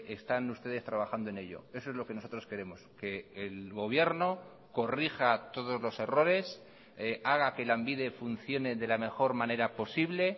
están ustedes trabajando en ello eso es lo que nosotros queremos que el gobierno corrija todos los errores haga que lanbide funcione de la mejor manera posible